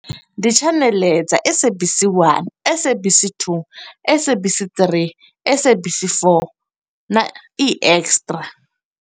Ndi tshaneḽe dza SABC 1, SABC 2, SABC 3, SABC 4, na e-Extra.